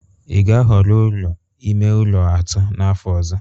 ị ga-ahọrọ ụlọ ime ụlọ atọ n'afọ ọzọ?